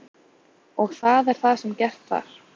Og það er það sem gert var.